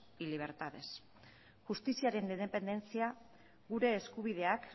y libertades justiziaren independentzia gure eskubideak